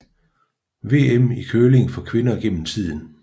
VM i curling for kvinder gennem tiden